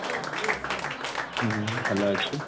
ହୁଁ ଭଲ ଅଛି